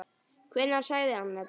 Hvenær sagði hann þetta?